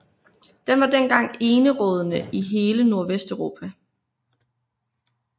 Den var dengang enerådende i hele Nordvesteuropa